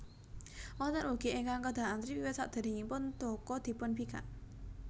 Wonten ugi ingkang kedah antri wiwit saderengipun toko dipunbikak